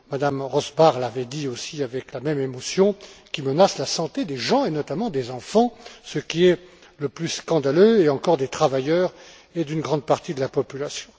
Mme Rosbach, l'avaient dit aussi avec la même émotion la santé des gens et notamment des enfants, ce qui est le plus scandaleux, et encore des travailleurs et d'une grande partie de la population.